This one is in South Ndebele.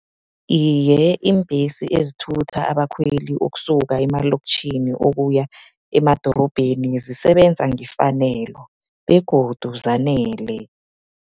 Iye, iimbhesi ezithutha abakhweli ukusuka emalokitjhini, ukuya emadorobheni zisebenza ngefanelo, begodu zanele.